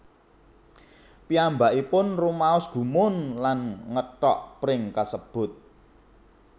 Piyambakipun rumaos gumun lan ngethok pring kasebut